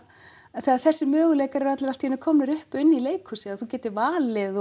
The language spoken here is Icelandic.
þegar þessir möguleikar eru allir allt í einu komnir upp í leikhúsi að þú getir valið